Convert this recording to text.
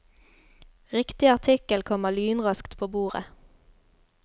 Riktig artikkel kommer lynraskt på bordet.